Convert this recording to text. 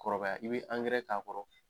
Kɔrɔbaya i bɛ angɛrɛ k'a kɔrɔ.